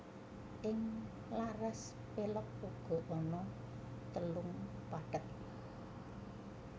Ing laras pélog uga ana telung pathet